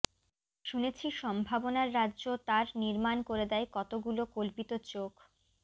শুনেছি সম্ভাবনার রাজ্য তার নির্মাণ করে দেয় কতগুলো কল্পিত চোখ